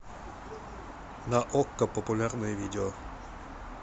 на окко популярное видео